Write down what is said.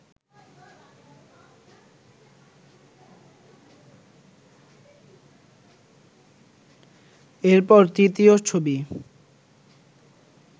এরপর তৃতীয় ছবি